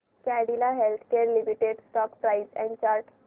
Cadila healthcare limited stock price and chart